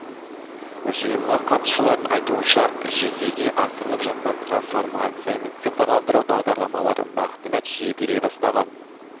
жиынға қатысушылардың айтуынша жүзеге асырылып жатқан трансформация мен цифрландыру бағдарламалары нақты нәтиже бере бастаған